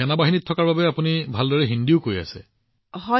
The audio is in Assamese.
সেনাৰ পৰিয়ালৰ হোৱাৰ বাবে আপুনি হিন্দীও ভালদৰে কৈ আছে